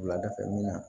Wuladafɛ min na